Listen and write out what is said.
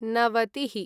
नवतिः